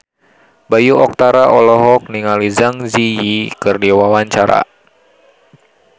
Bayu Octara olohok ningali Zang Zi Yi keur diwawancara